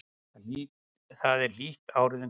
þar er hlýtt árið um kring